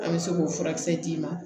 An bɛ se k'o furakisɛ d'i ma